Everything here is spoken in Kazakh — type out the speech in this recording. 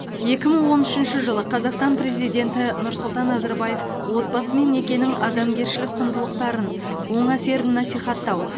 екі мың он үшінші жылы қазақстан президенті нұрсұлтан назарбаев отбасы мен некенің адамгершілік құндылықтарын оң әсерін насихаттау